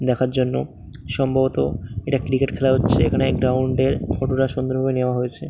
দেখার জন্য সম্ভবত এটা ক্রিকেট খেলা হচ্ছে। এখানে গ্রাউন্ড -এর ফটো টা সুন্দর ভাবে নেওয়া হয়েছে। ।